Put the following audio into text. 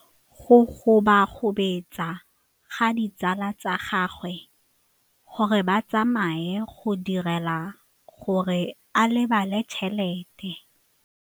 Go gobagobetsa ga ditsala tsa gagwe, gore ba tsamaye go dirile gore a lebale tšhelete.